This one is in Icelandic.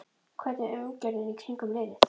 Hvernig er umgjörðin í kringum liðið?